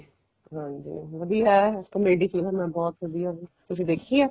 ਹਾਂਜੀ ਵਧੀਆ ਹੈ comedy ਫਿਲਮ ਹੈ ਤੁਸੀਂ ਦੇਖੀ ਹੈ